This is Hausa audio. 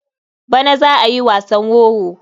Bana za a yi wasan wowo.